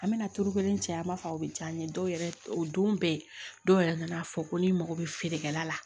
An bɛna turu kelen cɛ an b'a fɔ a bɛ diya n ye dɔw yɛrɛ o don bɛɛ dɔw yɛrɛ nana fɔ ko n'i mago bɛ feerekɛla la